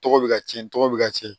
Tɔgɔ bɛ ka tiɲɛ tɔgɔ bɛ ka ci